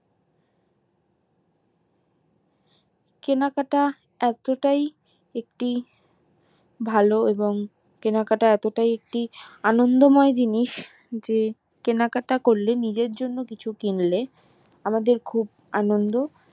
কেনাকাটা এতটাই একটি ভালো এবং কেনাকাটা এতটাই একটি আনন্দ মোই জিনিস যে কেনাকাটা করলে জিনের জন্য কিছু কিনলে আমাদের খুব আনন্দ